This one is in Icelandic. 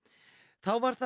þá var þar